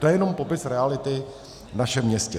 To je jenom popis reality v našem městě.